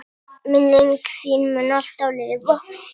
Minning þín mun alltaf lifa.